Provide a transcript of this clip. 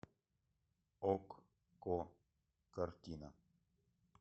окко картина